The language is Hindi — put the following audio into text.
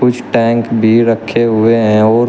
कुछ टैंक भी रखे हुए हैं और --